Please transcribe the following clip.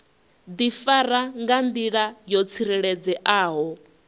difara nga ndila yo tsireledzeaho